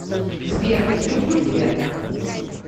сбер люблю тебя